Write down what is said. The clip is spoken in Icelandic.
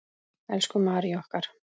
Elsku Mary okkar.